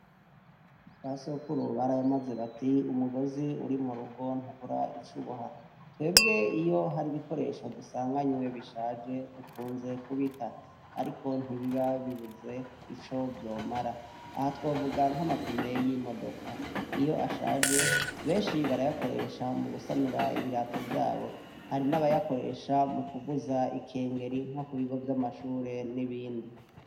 Basokuru barayamaze bati:"umugozi uri mu rugo ntubura icuboha".Twebwe iyo hari ibikoresho dusanganywe bishaje dukunze kubita ariko ntibiba bibuze ico vyomara, aha twovuga nk'amapine y'imodoka iyo ashaje benshi barayakoresha mu gusanura ibirato vyabo. hari n'abayakoresha mu kuvuza ikengeri nko kubigo vy'amashure n'ibindi.